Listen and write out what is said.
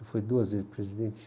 Ele foi duas vezes presidente.